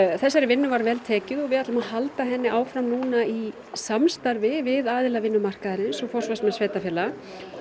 þessari vinnu var vel tekið og við ætlum að halda henni áfram núna í samstarfi við aðila vinnumarkaðarins og forsvarsmenn sveitarfélaga